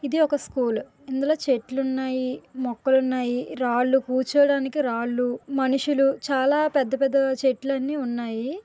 ఇది ఒక స్కూలు ఇందులో చెట్లు ఉన్నాయి మొక్కలున్నాయి రాళ్లు కూర్చోడానికి రాళ్లు మనుషులు చాలా పెద్ద పెద్ద చెట్లు అన్నీ ఉన్నాయి.